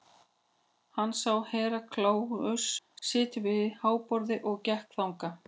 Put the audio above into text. Hann sá Herra Kláus sitja við háborðið og gekk þangað.